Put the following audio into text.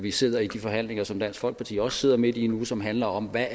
vi sidder i de forhandlinger som dansk folkeparti også sidder midt i nu som handler om hvad